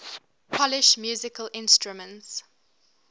polish musical instruments